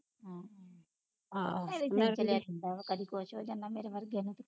ਹਮ ਕਦੀ ਕੁਛ ਹੋ ਜਾਂਦਾ ਕਰਮੇ ਵਰਗੇ ਨੂੰ